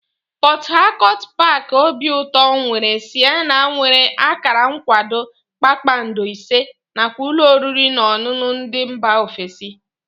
Pọt Hakọt paaki obiụtọ nwere sịnema nwere akara nkwado kpakpando ise nakwa ụlọ oriri na ọṅụṅụ ndị mba ofesi